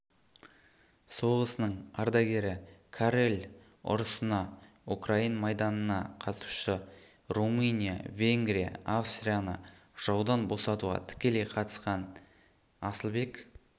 соғысының ардагері каррель ұрысына украин майданына қатысушы румыня венгрия австрияны жаудан босатуға тікелей қатысқан асылбек